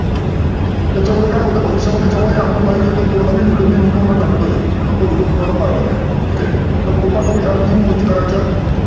त्याच्यामुळे काय होतं भविष्यामध्ये जेव्हाही आपण live किंवा नवीन video मी YouTube ला टाकतोय तर तो video तुम्हाला पहायला मिळेल, ठिक आहे. तर कृपा करून ह्या तीन गोष्टी करायच्यात.